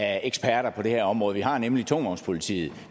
af eksperter på det her område vi har nemlig tungtvognspolitiet